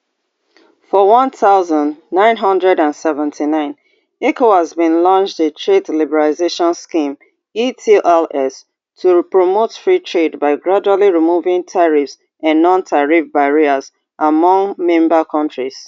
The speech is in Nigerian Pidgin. for one thousand, nine hundred and seventy-nine ecowas bin launch di trade liberalization scheme etls to promote free trade by gradually removing tariffs and nontariff barriers among member kontris